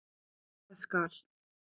Það skal